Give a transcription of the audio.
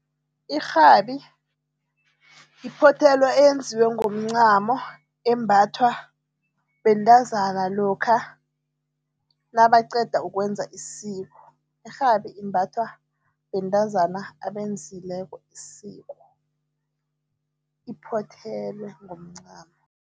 Irhabi iphothelo eyenziwe ngomncamo, embathwa bentazana lokha nabaqeda ukwenza isiko. Irhabi imbathwa bentazana abenzileko isiko, iphothelwe ngomncamo.